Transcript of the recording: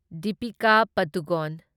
Deepika Padukone